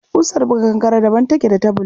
Ƙusar buga kankare daban take da ta bulu.